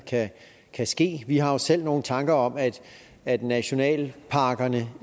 kan ske vi har jo selv nogle tanker om at at nationalparkerne